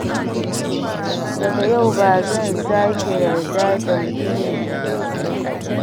Daga yau, ba zan sake yarda da mutumin da ban san shi ba.